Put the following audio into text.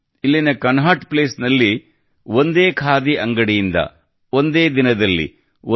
ಇಲ್ಲಿನ Connaught Place ನಲ್ಲಿ ಒಂದೇ ಖಾದಿ ಅಂಗಡಿಯಿಂದ ಒಂದೇ ದಿನದಲ್ಲಿ 1